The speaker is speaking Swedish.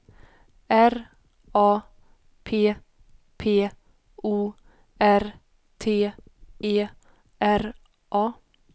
R A P P O R T E R A